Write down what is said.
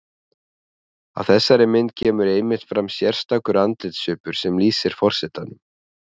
Á þessari mynd kemur einmitt fram sérstakur andlitssvipur sem lýsir forsetanum.